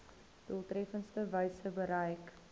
doeltreffendste wyse bereik